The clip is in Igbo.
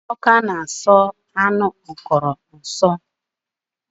Obodo Ọka na aso enwe nso